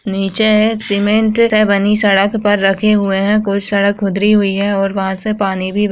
नीचे है। सीमेंट से बनी सड़क पर रखे हुए हैं। कुछ सड़क खुदरी हुई है और वहाँ से पानी भी बह --